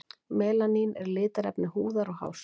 Melanín er litarefni húðar og hárs.